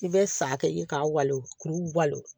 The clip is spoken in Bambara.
I bɛ sa kɛ i k'a wali kuru balo